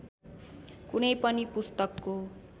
कुनै पनि पुस्तकको